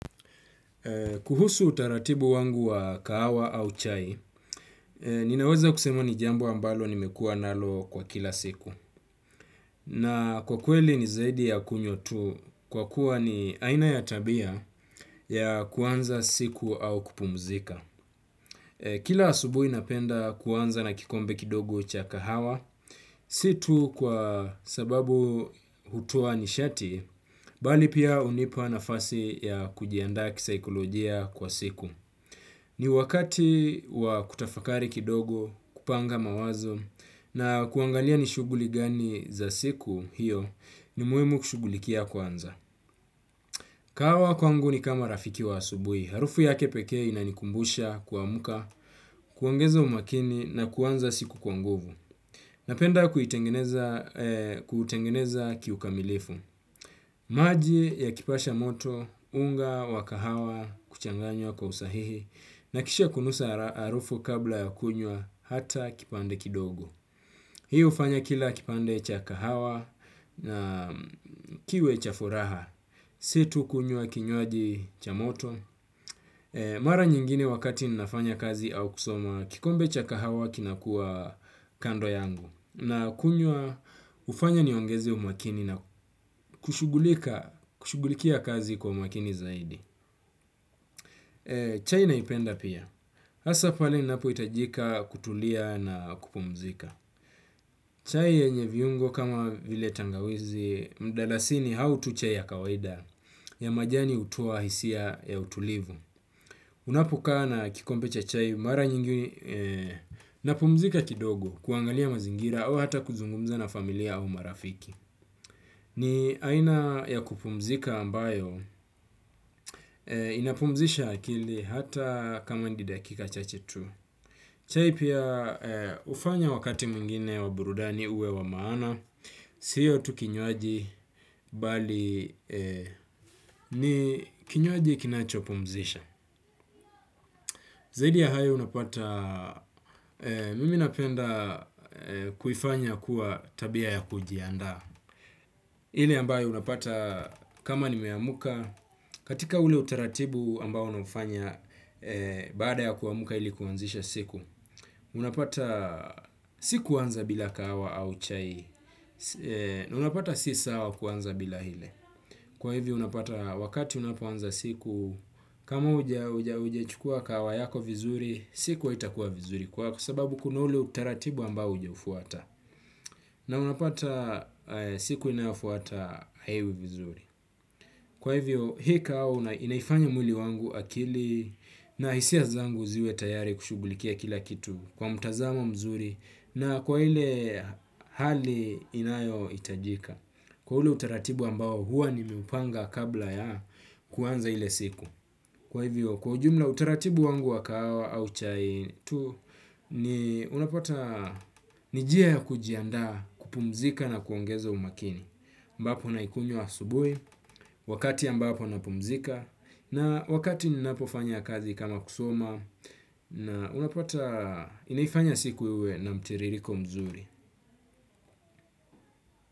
Kuhusu utaratibu wangu wa kahawa au chai, ninaweza kusema ni jambo ambalo nimekua nalo kwa kila siku. Na kwa kweli ni zaidi ya kunywa tu kwa kuwa ni aina ya tabia ya kuanza siku au kupumzika. Kila asubui napenda kuanza na kikombe kidogu cha kahawa. Si tu kwa sababu hutoa nishati bali pia hunipa nafasi ya kujiandaa kisaikolojia kwa siku. Ni wakati wa kutafakari kidogo, kupanga mawazo na kuangalia nishuguli gani za siku hiyo ni muhimu kushugulikia kwanza. Kahawa kwangu ni kama rafiki wa asubui. Harufu ya kepeke inanikumbusha kuamuka, kuangeza umakini na kwanza siku kwanguvu. Napenda kutengeneza kiukamilifu. Maji ya kipasha moto, unga, wakahawa, kuchanganywa kwa usahihi na kisha kunusa arufu kabla ya kunywa hata kipande kidogo. Hiyo fanya kila kipande cha kahawa na kiwe cha furaha. Si tu kunywa kinywaji cha moto. Mara nyingine wakati ninafanya kazi au kusoma kikombe cha kahawa kinakua kando yangu. Na kunyua ufanya niongezi umakini na kushugulikia kazi kwa umakini zaidi. Chai naipenda pia asa pale napoitajika kutulia na kupumzika. Chai yenye viungo kama vile tangawizi mdalasini hau tucha ya kawaida. Ya majani hutoa hisia ya utulivu. Unapokaa na kikompecha chai mara nyingi napumzika kidogo kuangalia mazingira au hata kuzungumza na familia au marafiki. Ni aina ya kupumzika ambayo inapumzisha akili hata kama ndi dakika chache tu. Chai pia ufanya wakati mwingine wa burudani uwe wa maana, siyo tu kinywaji bali ni kinywaji kinacho pumzisha. Zaidi ya hayo unapata, mimi napenda kuifanya kuwa tabia ya kujianda. Ile ambayo unapata kama nimeyamuka, katika ule utaratibu ambayo nafanya, baada ya kuamuka ilikuanzisha siku. Unapata sikuwanza bila kahawa au chai, na unapata sisawa kuwanza bila hile. Kwa hivo unapata wakati unapoanza siku kama aujachukuwa kahawa yako vizuri siku haitakuwa vizuri kwako sababu kuna ule utaratibu ambao haujaufuata. Na unapata siku inayofuata haiwivizuri. Kwa hivyo hi kahawa inaifanya mwili wangu akili na isia zangu ziwe tayari kushugulikia kila kitu kwa mtazamo mzuri na kwa hile hali inayo itajika. Kwa ule utaratibu ambao huwa ni meupanga kabla ya kuwanza ile siku kwa hivyo kwa jumla utaratibu wangu wakahawa au chai tu ni unapota nijia ya kujianda kupumzika na kuongeza umakini ambapo na ikunyo wa subui wakati ambapo na pumzika na wakati ninapofanya kazi kama kusoma na unapata inaifanya siku iwe na mtiririko mzuri.